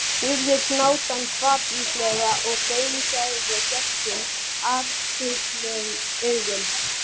spurði hnátan hvatvíslega og gaumgæfði gestinn athugulum augum.